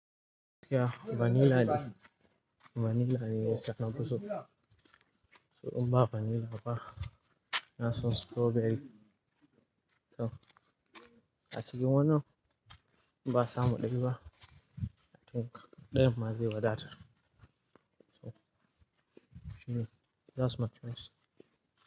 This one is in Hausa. Ya vanila ne, vanila ne ya sa nafuso. So in ba vanila ba, na so strawberry. To a cikin wannan ba samu ɗai ba to ɗayan ma zai wadatar. To shine, that my choice.